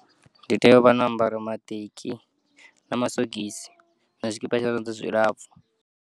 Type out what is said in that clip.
Nditea uvho no ambara maṱeki na masogisi na tshikipa tsha zwanḓa zwilapfu.